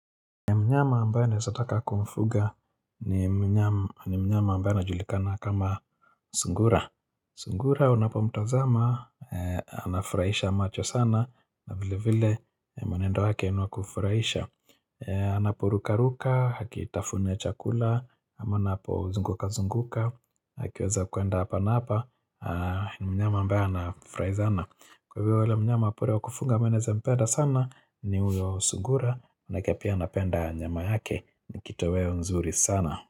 Mnyama ambaye naezataka kumfuga ni mnyama ambaye anajulikana kama sungura. Sungura unapomtazama, anafurahisha macho sana na vile vile mwenendo wake niwakufurahisha. Anapo ruka ruka, hakitafune chakula, ama anapozunguka zunguka, hakiweza kuenda hapa na hapa, ni mnyama ambaye anafurai zana. Kwa hivyo ule mnyama pori wakufunga ambaye naeza mpeda sana ni huyo sugura na kia pia napenda nyama yake ni kitoweo nzuri sana.